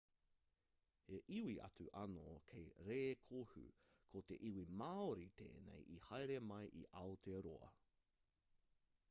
he iwi atu anō kei rēkohu ko te iwi māori tēnei i haere mai i aotearoa